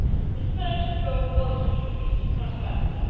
The third goal was increased transparency.